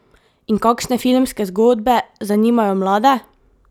In kakšne filmske zgodbe zanimajo mlade?